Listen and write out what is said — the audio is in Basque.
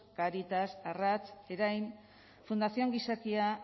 cáritas arrats erain fundación gizakia